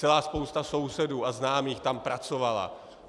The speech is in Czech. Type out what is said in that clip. Celá spousta sousedů a známých tam pracovala.